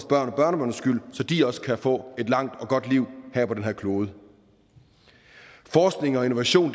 børnebørns skyld så de også kan få et langt og godt liv på den her klode forskning og innovation